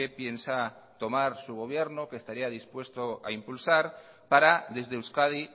piensa tomar su gobierno que estaría dispuesto a impulsar para desde euskadi